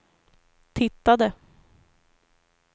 tittade